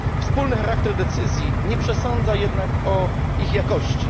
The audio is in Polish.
Wspólny charakter decyzji nie przesądza jednak o ich jakości.